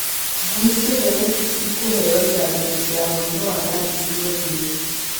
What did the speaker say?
Ngui ciothe nĩ ikũheo njanjo ya mũrimũ wa rabis mweri ũyũ